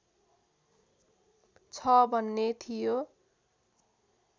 छ भन्ने थियो